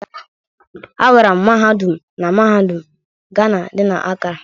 Agara m mahadum na mahadum Gana dị na Acara.